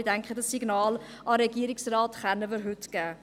Ich denke aber, wir können dem Regierungsrat dieses Signal heute geben.